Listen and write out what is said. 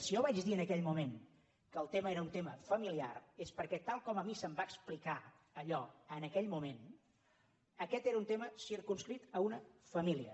si jo vaig dir en aquell moment que el tema era un tema familiar és perquè tal com a mi se’m va explicar allò en aquell moment aquest era un tema circumscrit a una família